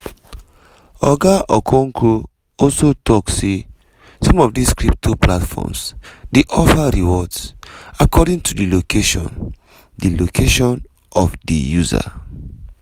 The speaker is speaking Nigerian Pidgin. oga okonkwo also tok say some of dis crypto platforms dey offer rewards according to di location di location of di user.